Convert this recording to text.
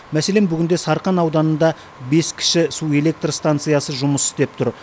мәселен бүгінде сарқан ауданында бес кіші су электр станциясы жұмыс істеп тұр